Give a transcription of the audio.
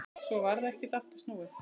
Svo varð ekkert aftur snúið.